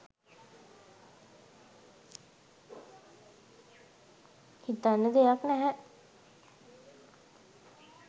හිතන්න දෙයක් නැහැ